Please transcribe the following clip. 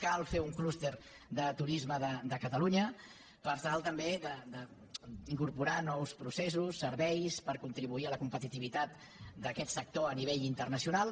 cal fer un clúster de turisme de catalunya per tal també d’incorporar nous processos serveis per contribuir a la competitivitat d’aquest sector a nivell internacional